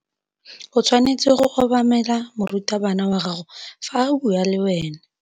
O tshwanetse go obamela morutabana wa gago fa a bua le wena.